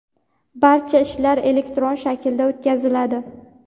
barcha ishlar elektron shaklga o‘tkaziladi.